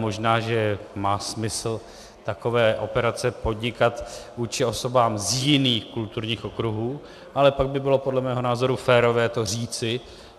Možná že má smysl takové operace podnikat vůči osobám z jiných kulturních okruhů, ale pak by bylo podle mého názoru férové to říci.